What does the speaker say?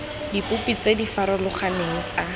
dipopi tse di farologaneng tsa